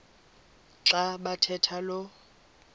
xa bathetha lo